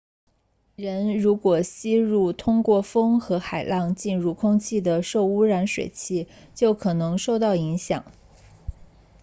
人如果吸入通过风和海浪进入空气的受污染水气就可能受到影响